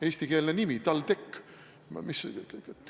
Eestikeelne nimi TalTech?